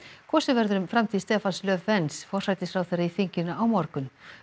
kosið verður um framtíð Stefans forsætisráðherra í þinginu á morgun